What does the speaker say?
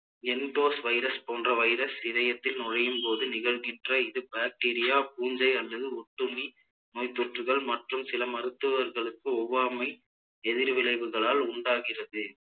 virus போன்ற virus இதயத்தில் நுழையும் போது நிகழ்கின்ற இது bacteria பூஞ்சை அல்லது ஒட்டுண்ணி நோய்த்தொற்றுகள் மற்றும் சில மருத்துவர்களுக்கு ஒவ்வாமை எதிர் விளைவுகளால் உண்டாகிறது